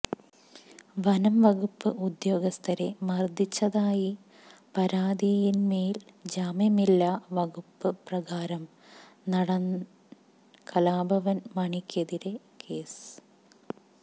വനംവകുപ്പ് ഉദ്യോഗസ്ഥരെ മര്ദ്ദിച്ചതായി പരാതിയിന്മേല് ജാമ്യമില്ലാ വകുപ്പ് പ്രകാരം നടന് കലാഭവന് മണിക്കെതിരേ കേസ്